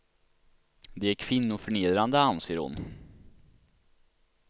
De är kvinnoförnedrande, anser hon.